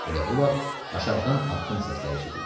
Elə bu vaxt aşağıdan addım səsləri eşidildi.